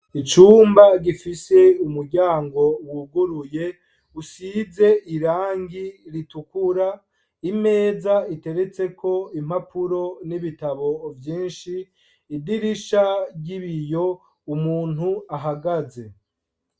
Icumba gifiese umuryango wuguruye gisize irangi ritukura, imeza iteretseko impapuro n'ibitabo vyinshi, idirisha ry'ibiyo, umuntu ahagaze.